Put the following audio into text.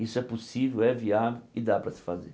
Isso é possível, é viável e dá para se fazer.